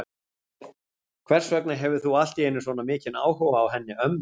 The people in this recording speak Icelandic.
Hvers vegna hefur þú allt í einu svona mikinn áhuga á henni ömmu?